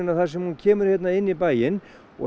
þar sem hún kemur hér inn í bæinn og